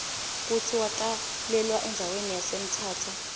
kutsi watalelwa endzawani yase mthatha